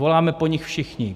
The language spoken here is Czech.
Voláme po nich všichni.